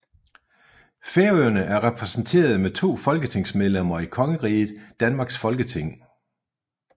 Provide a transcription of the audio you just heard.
Færøerne er repræsenteret med to folketingsmedlemmer i Kongeriget Danmarks Folketing